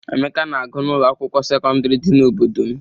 Emeka na-agụ n'ụlọ akwụkwọ sekọndịrị dị n'obodo m.